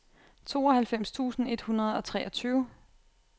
tooghalvfems tusind et hundrede og treogtyve